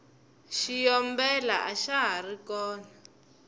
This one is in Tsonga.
xiyombela axa hari kona